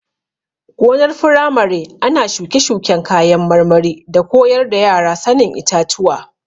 Gonar firamare ana shuke-shuken kayan marmari da koyar da yara sanin itatuwa.